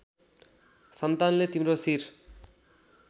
सन्तानले तिम्रो शिर